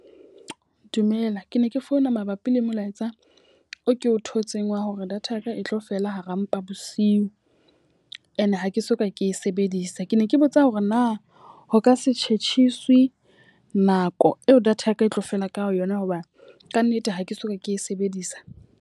Dumela, ke ne ke founa mabapi le molaetsa o ke o thotseng wa hore data yaka e tlo fela hara mpa bosiu. E ne ha ke soka ke e sebedisa. Ke ne ke botsa hore na ho ka se tjhetjhisiwe nako eo data yaka e tlo fela ka yona hoba ka nnete ha ke soka ke e sebedisa?